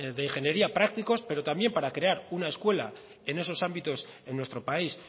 de ingeniería prácticos pero también para crear una escuela en esos ámbitos en nuestro país